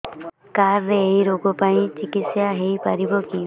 card ରେ ଏଇ ରୋଗ ପାଇଁ ଚିକିତ୍ସା ହେଇପାରିବ କି